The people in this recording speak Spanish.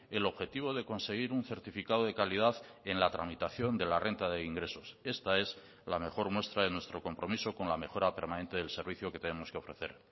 el objetivo de conseguir un certificado de calidad en la tramitación de la renta de ingresos esta es la mejor muestra de nuestro compromiso con la mejora permanente del servicio que tenemos que ofrecer